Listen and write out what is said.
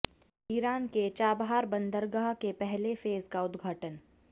Iran के Chabahar बंदरगाह के पहले फ़ेज़ का उद्घाटन